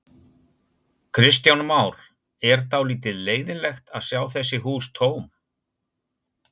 Kristján Már: Er dálítið leiðinlegt að sjá þessi hús tóm?